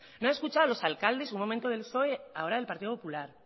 no han escuchado a los alcaldes un momento del psoe ahora del partido popular